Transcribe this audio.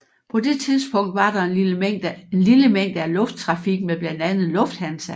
På det tidspunkt var der en lille mængde af lufttrafik med blandt andet Lufthansa